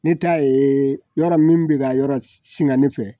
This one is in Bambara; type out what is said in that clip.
N'i ta ye yɔrɔ min bɛ ka yɔrɔ singa ne fɛ